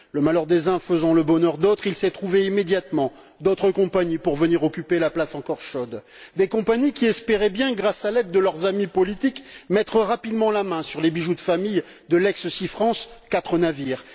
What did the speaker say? Le malheur des uns faisant le bonheur des autres, il s'est trouvé immédiatement d'autres compagnies pour venir occuper la place encore chaude des compagnies qui espéraient, grâce à l'aide de leurs amis politiques, mettre rapidement la main sur les bijoux de famille de l'ancienne compagnie SeaFrance quatre navires.